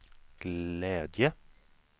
glädje